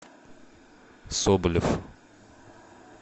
соболев